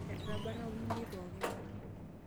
Etabarna olmunyei pookin.